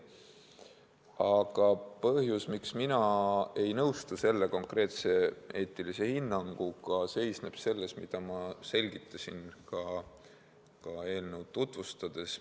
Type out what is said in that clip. Aga põhjus, miks mina ei nõustu selle konkreetse eetilise hinnanguga, seisneb selles, mida ma juba selgitasin eelnõu tutvustades.